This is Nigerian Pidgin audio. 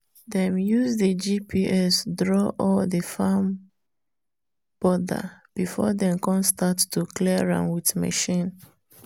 dem use rtk gps draw all the farm border before dem come start to clear am with machine.